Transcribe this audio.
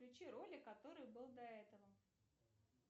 включи ролик который был до этого